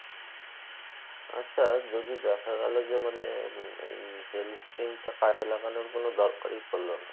আচ্ছা যদি দেখা গেলো যে মানে ওই health scheme টা কাজে লাগার কোনো দরকারি পড়লো না